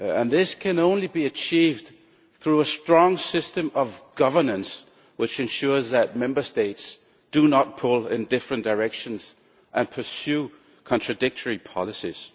This can only be achieved through a strong system of governance which ensures that Member States do not pull in different directions and pursue contradictory policies.